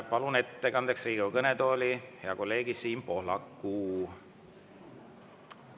Palun ettekandeks Riigikogu kõnetooli hea kolleegi Siim Pohlaku.